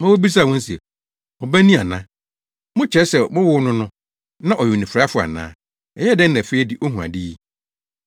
ma wobisaa wɔn se, “Mo ba ni ana? Mokyerɛ sɛ mowoo no no, na ɔyɛ onifuraefo ana? Ɛyɛɛ dɛn na afei de ohu ade yi?”